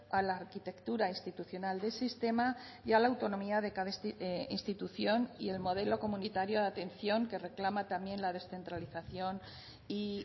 a la arquitectura institucional del sistema y a la autonomía de cada institución y el modelo comunitario de atención que reclama también la descentralización y